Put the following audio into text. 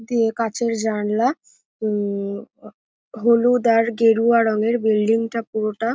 দিয়ে কাঁচের জানলা উম হ হলুদ আর গেরুয়া রঙের বিল্ডিং - টা পুরোটা।